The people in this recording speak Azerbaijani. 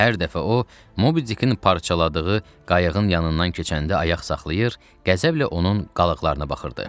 Hər dəfə o, Mobi Dikin parçaladığı qayıqın yanından keçəndə ayaq saxlayır, qəzəblə onun qalıqlarına baxırdı.